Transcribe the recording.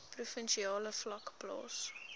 provinsiale vlak plaas